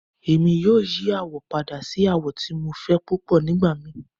Emi yoo yi awọ pada si awọ ti Mo fẹ pupọ nigbamii